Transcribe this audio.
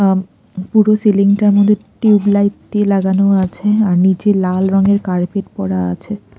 আম পুরো সিলিং -টার মধ্যে টিউবলাইট দিয়ে লাগানো আছে আর নীচে লাল রঙের কার্পেট পরা আছে।